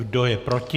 Kdo je proti?